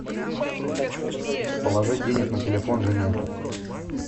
положить денег на телефон жене